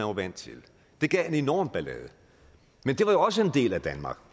var vant til det gav en enorm ballade men det var jo også en del af danmark